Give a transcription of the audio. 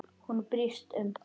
Hún brýst um.